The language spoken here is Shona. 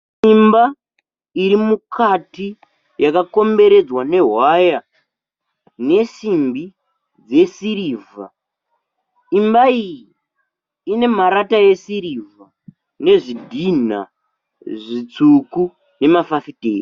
Imba iri mukati yakakomberedzwa nehwaya nesimbi dzesirivha. Imba iyi ine marata esirivha nezvidhinha zvitsvuku nemafafitera.